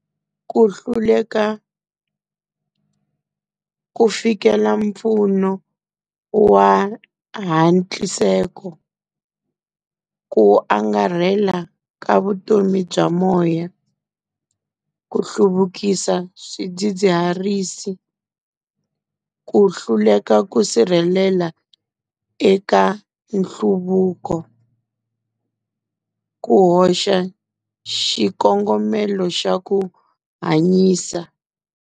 Ku hluleka ku fikela mpfuno wa hatliseko ku angarhela ka vutomi bya moya, ku hluvukisa swidzidziharisi, ku hluleka ku sirhelela eka nhluvuko, ku hoxa xikongomelo xa ku hanyisa.